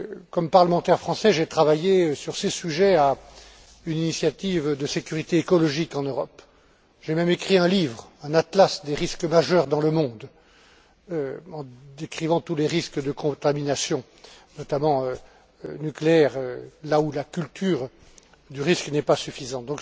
Comme parlementaire français, j'ai travaillé à une initiative de sécurité écologique en Europe. J'ai même écrit un livre, un atlas des risques majeurs dans le monde décrivant tous les risques de contamination, notamment nucléaires, là où la culture du risque n'est pas suffisante.